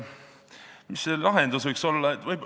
Mis see lahendus võiks olla?